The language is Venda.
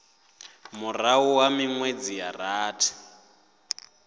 murahu ha minwedzi ya rathi